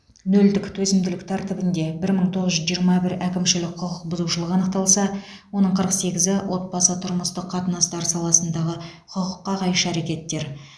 нөлдік төзімділік тәртібінде бір мың тоғыз жүз жиырма бір әкімшілік құқық бұзушылық анықталса оның қырық сегізі отбасы тұрмыстық қатынастар саласындағы құқыққа қайшы әрекеттер